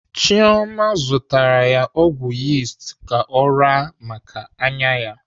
Chioma zụtara ya ọgwụ yist ka ọ raa maka anya ya.